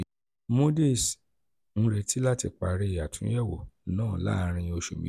moodys ń retí láti parí àtúnyẹ̀wò náà láàárín oṣù